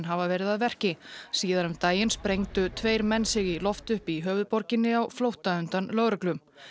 hafa verið að verki síðar um daginn sprengdu tveir menn sig í loft upp í höfuðborginni á flótta undan lögreglu